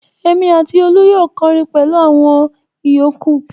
Èmi àti Olú yóò kọrin pẹ̀lú àwọn ìyókù.